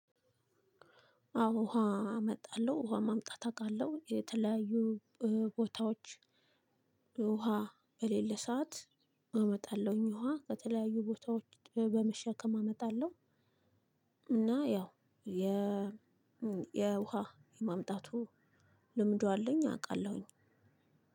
አዎ ውሃ እመጣለሁ ውሃ ማምጣት አውቃለሁ የተለያዩ ቦታዎች ውሃ በሌለ ሰዓት አመጣለሁኝ ውሃ ከተለያዩ ቦታዎች በመሸከም አመጣለሁ። እና ያው የ የውሃ የማምጣቱ ልምዱ አለኝ አውቃለሁኝ።